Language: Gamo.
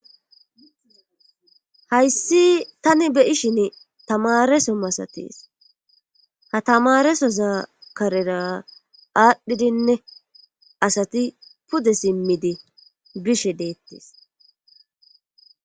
hayssi tani be ishin tamareso masates ha tamaresoza karera aadhdhidinne asati pude simmidi bishe deettis